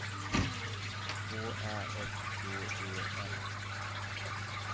K Ä F T E N